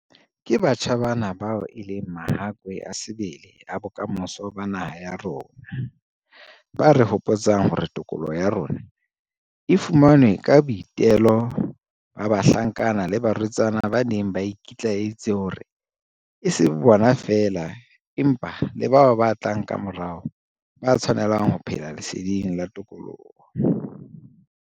Ke batjha bana bao e leng mahakwe a sebele a bokamoso ba naha ya rona, ba re hopotsang hore tokoloho ya rona e fumanwe ka boitelo ba bahlankana le barwetsana ba neng ba iki tlaelleditse hore e se be bona feela, empa le bao ba tlang kamorao, ba tshwanelang ho phela leseding la tokoloho.